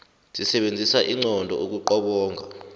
sisebenzisa inqondo ukuqobonga